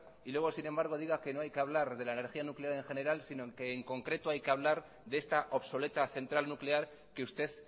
y luego sin embargo diga que no hay que hablar de la energía nuclear en general si no que en concreto hay que hablar de esta obsoleta central nuclear que usted